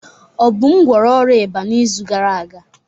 Obum gwọrọ ọrịa ịba n'izu gara aga.